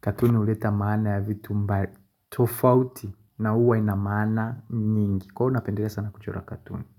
katuni huleta maana ya vitu mba tofauti na huwa ina maana nyingi kwa hivo napendelea sana kuchora katuni.